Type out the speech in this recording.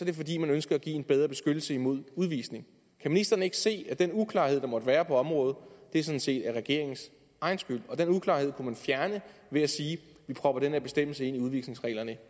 det fordi man ønsker at give en bedre beskyttelse mod udvisning kan ministeren ikke se at den uklarhed der måtte være på området sådan set er regeringens egen skyld og den uklarhed ved at sige vi propper den her bestemmelse ind i udvisningsreglerne